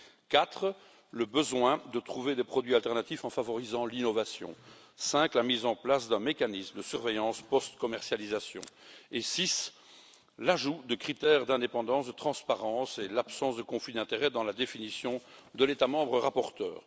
Quatre, le besoin de trouver des produits alternatifs en favorisant l'innovation. Cinq, la mise en place d'un mécanisme de surveillance post commercialisation et, six, l'ajout de critères d'indépendance et de transparence et l'absence de conflit d'intérêts dans la définition de l'État membre rapporteur.